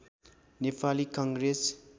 Nepali Congress